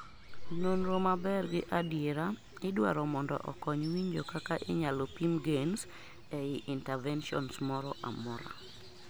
nonro maber gi adiera idwaro mondo okony winjo kaka inyalo pim gains ei interventions mora mora